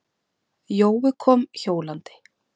Jói kom hjólandi.